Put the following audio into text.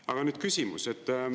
Aga nüüd küsimus.